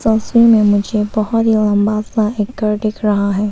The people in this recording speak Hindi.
मुझे बहुत लंबा सा एक घर दिख रहा है।